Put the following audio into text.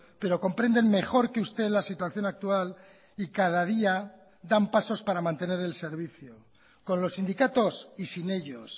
pero comprenden mejor que usted la situación actual y cada día dan pasos para mantener el servicio con los sindicatos y sin ellos